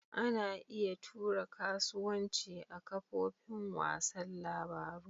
Ana iya tura kasuwanci ta kafofin wasan labaru.